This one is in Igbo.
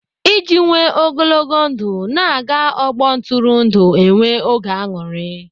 Iji nwee ogologo ndụ, na-aga ọgbọ ntụrụndụ enwe oge aṅụrị.